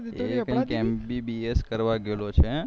એ કૈક MBBS કરવા ગયેલો છે